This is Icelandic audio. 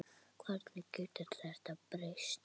Hvernig getur þetta breyst?